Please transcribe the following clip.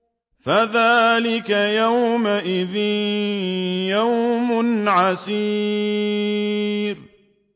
فَذَٰلِكَ يَوْمَئِذٍ يَوْمٌ عَسِيرٌ